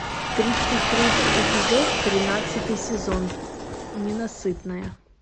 тридцать третий эпизод тринадцатый сезон ненасытная